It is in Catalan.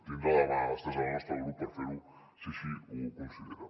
tindrà la mà estesa del nostre grup per fer ho si així ho considera